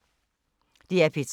DR P3